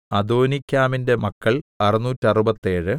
അദോനീക്കാമിന്റെ മക്കൾ അറുനൂറ്ററുപത്തേഴ്